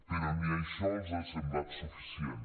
però ni això els ha semblat suficient